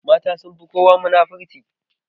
Mata sunfi kowa munafurci.